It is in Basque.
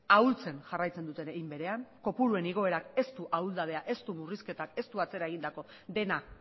ahultzen segitzen dute hein berean kopuruen igoerak ez du ahuldadea ez du murrizketak ez du atzera egindako dena